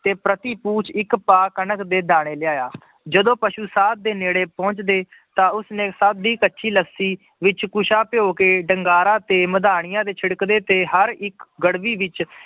ਤੇ ਪ੍ਰਤੀਪੂਜ ਇੱਕ ਭਾ ਕਣਕ ਦੇ ਦਾਣੇ ਲਿਆਇਆ ਜਦੋਂ ਪਸੂ ਸਾਧ ਦੇ ਨੇੜੇ ਪਹੁੰਚਦੇ, ਤਾਂ ਉਸਨੇ ਸਭ ਦੀ ਕੱਚੀ ਲੱਸੀ ਵਿੱਚ ਕੁਸਾ ਭਿਓਂ ਕੇ ਡੰਗਾਰਾ ਤੇ ਮਧਾਣੀਆਂ ਦੇ ਛਿੜਕਦੇ ਤੇ ਹਰ ਇੱਕ ਗੜਬੀ ਵਿੱਚ